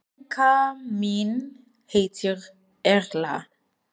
Frænka mín heitir Erla.